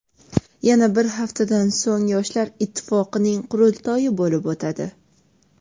Yana bir haftadan so‘ng Yoshlar ittifoqining qurultoyi bo‘lib o‘tadi.